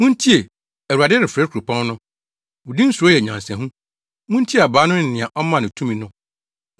Muntie! Awurade refrɛ kuropɔn no, Wo din suro yɛ nyansahu, “Muntie abaa no ne nea Ɔmaa no tumi no.